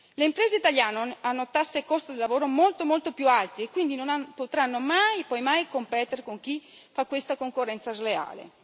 Le imprese italiane hanno tasse e costo del lavoro molto, molto più alti e quindi non potranno mai e poi mai competere con chi fa questa concorrenza sleale.